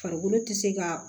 Farikolo te se ka